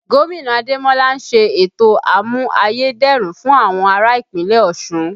Gómìnà Ademola ń ṣe ètò àmù-ayé-dẹrùn fún àwọn ará Ìpínlẹ̀ Ọ̀ṣun